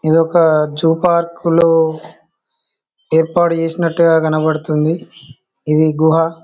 ఇది ఒక జూపార్కు లో ఏర్పాటు చేసినట్టుగా కనపడుతుంది . ఇది గుహ.